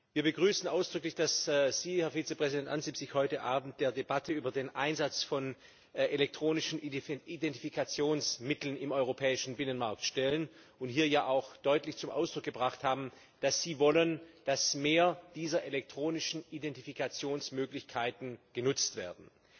Wir begrüßen ausdrücklich, dass Sie, Herr Vizepräsident Ansip, sich heute Abend der Debatte über den Einsatz von elektronischen Identifikationsmitteln im europäischen Binnenmarkt stellen und hier ja auch deutlich zum Ausdruck gebracht haben, dass Sie wollen, dass mehr dieser elektronischen Identifikationsmöglichkeiten genutzt werden.